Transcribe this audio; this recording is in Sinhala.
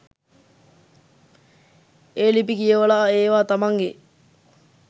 ඒ ලිපි කියවලා ඒවා තමන්ගෙ